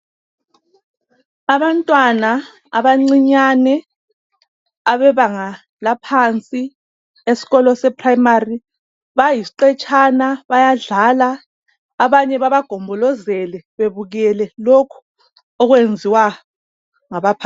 Abantwana abancinyane abebanga laphansi esikolo seprayimari bayisiqetshana bayadlala abanye babagombolezele bebukele lokhu okwenziwa ngabaphakathi.